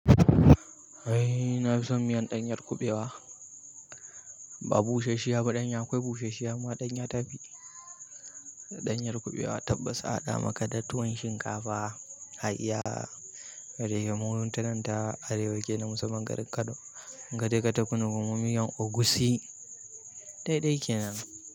Eh na fi son miyan ɗanyar kuɓewa. Ba bushasshiya ba ɗanya, akwai bushasshiya amma ɗanya ta fi. Ɗanyar kuɓewa tabbas a haɗa maka da tuwon shinkafa, hayya, da yake mu tanan ta arewa kenan musamman garin Kano. Gade ka tafi nuna mun miyan egusi. Daidai kenan.